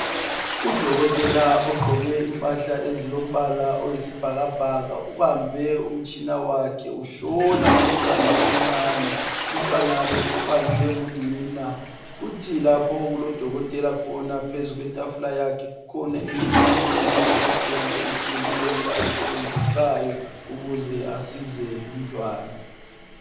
Udokotela ogqoke impahla ezilombala oyisibhakabhaka ubambe umtshina wakhe uhlola umntwana omncane. Umtwana lo ubanjwe ngunina. Kuthi lapho okulo dokotela khona phezu kwetafula yakhe kukhona im'tshina eyimihlobohlobo etshiyeneyo ayisebenzisayo ukuze asize lumntwana.